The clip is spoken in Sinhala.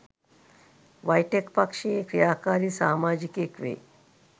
වයිටෙක් පක්ෂයේ ක්‍රියාකාරී සාමාජිකයෙක් වෙයි